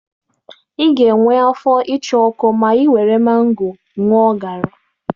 Ị ga-enwe afọ ịcha ọkụ ma ị were mango gụọ garri.